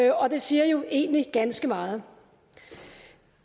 og det siger jo egentlig ganske meget